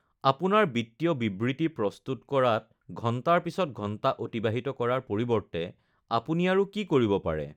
আপোনাৰ বিত্তীয় বিবৃতি প্ৰস্তুত কৰাত ঘণ্টাৰ পিছত ঘণ্টা অতিবাহিত কৰাৰ পৰিৱৰ্তে আপুনি আৰু কি কৰিব পাৰে?